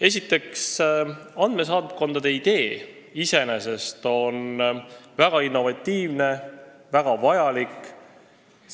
Esiteks, andmesaatkondade idee iseenesest on innovatiivne ja väga vajalik.